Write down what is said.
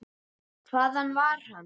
Hvaðan var hann?